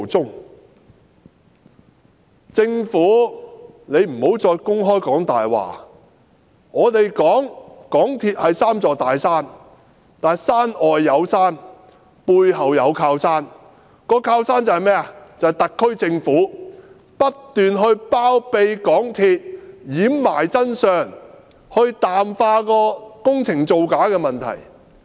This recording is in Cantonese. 請政府不要再公然說謊，我們說港鐵公司是三座"大山"之一，但山外有山，背後有靠山，靠山就是特區政府不斷包庇港鐵公司，掩埋真相，淡化工程造假的問題。